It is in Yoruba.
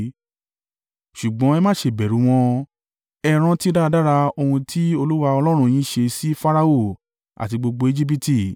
Ṣùgbọ́n ẹ má ṣe bẹ̀rù wọn, ẹ rántí dáradára ohun tí Olúwa Ọlọ́run yín ṣe sí Farao àti gbogbo Ejibiti.